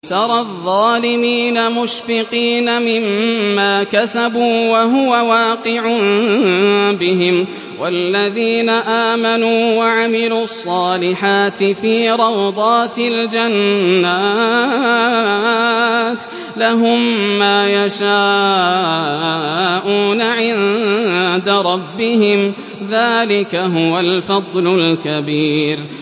تَرَى الظَّالِمِينَ مُشْفِقِينَ مِمَّا كَسَبُوا وَهُوَ وَاقِعٌ بِهِمْ ۗ وَالَّذِينَ آمَنُوا وَعَمِلُوا الصَّالِحَاتِ فِي رَوْضَاتِ الْجَنَّاتِ ۖ لَهُم مَّا يَشَاءُونَ عِندَ رَبِّهِمْ ۚ ذَٰلِكَ هُوَ الْفَضْلُ الْكَبِيرُ